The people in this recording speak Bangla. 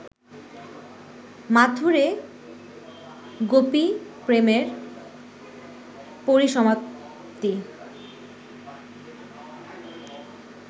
মাথূরে গোপীপ্রেমের পরিসমাপ্তি